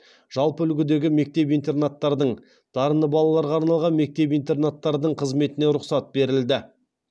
жалпы үлгідегі мектеп интернаттардың дарынды балаларға арналған мектеп интернаттардың қызметіне рұқсат берілді